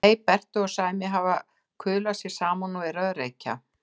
Nei, Berti og Sæmi hafa kuðlað sér saman og eru að reykja.